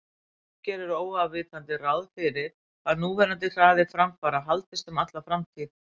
Fólk gerir óafvitandi ráð fyrir að núverandi hraði framfara haldist um alla framtíð.